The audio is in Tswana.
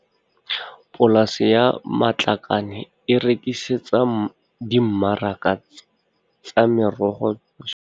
Polase ya Matlakane e rekisetsa dimmaraka tsa merogo kwa Bochum, Polokwane le Johannesburg dipherefere tse di tala.